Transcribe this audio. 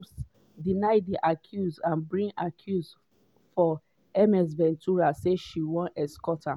combs deny di accuse and bring accuse for ms ventura say she wan extort am.